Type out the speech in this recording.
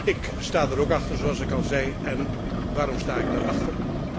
Ik sta daar ook achter, zoals ik al zei, en waarom sta ik daarachter?